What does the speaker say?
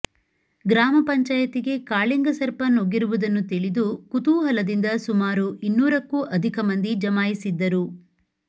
ಗ್ರಾಮ ಪಂಚಾಯಿತಿಗೆ ಕಾಳಿಂಗ ಸರ್ಪ ನುಗ್ಗಿರುವುದನ್ನು ತಿಳಿದು ಕುತೂಹಲದಿಂದ ಸುಮಾರು ಇನ್ನೂರಕ್ಕೂ ಅಧಿಕ ಮಂದಿ ಜಮಾಯಿಸಿದ್ದರು